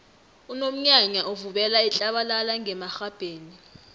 unomnyanya uvubela itlabalala ngemarhabheni